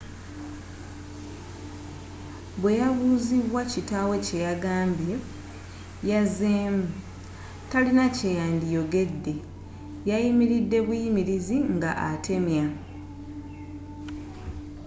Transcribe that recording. bweyabuuzibwa kitaawe kyeyagambye yazemu talina kye yandiyogedde – yayimiride buyimirizi nga atemya.